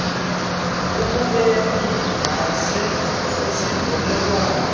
ekubeni nenze isivuelwano